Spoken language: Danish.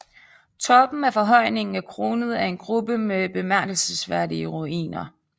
Toppen af forhøjningen er kronet af en gruppe med bemærkelsesværdige ruiner